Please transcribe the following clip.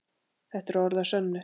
Þetta eru orð að sönnu.